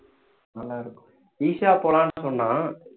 நல்லா இருக்கும் ஈஷா போலாம்னு சொன்னான்